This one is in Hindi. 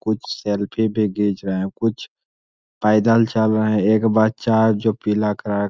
कुछ सेल्फ़ी भी घिच रहे है कुछ पैदल भी चल रहे है एक बच्चा जो पीला कलर --